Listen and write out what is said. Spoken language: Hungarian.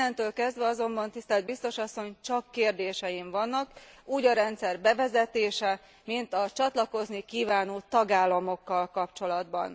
Innentől kezdve azonban, tisztelt biztos asszony, csak kérdéseim vannak. Úgy a rendszer bevezetésével, mint a csatlakozni kívánó tagállamokkal kapcsolatban.